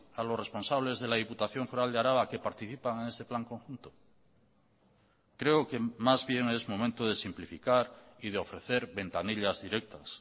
a los responsables de la diputación foral de araba que participan en este plan conjunto creo que más bien es momento de simplificar y de ofrecer ventanillas directas